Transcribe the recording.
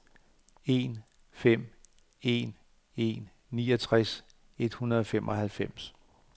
en fem en en niogtres et hundrede og femoghalvfems